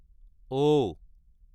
ও